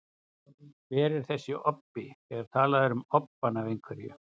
Hver er þessi obbi, þegar talað er um obbann af einhverju?